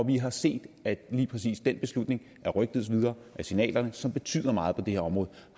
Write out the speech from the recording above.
vi har set at lige præcis den beslutning er rygtedes videre og signalerne som betyder meget på det her område